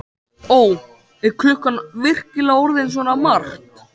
Ó, er klukkan virkilega orðin svona margt?